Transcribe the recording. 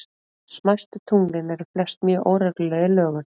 Smæstu tunglin eru flest mjög óregluleg í lögun.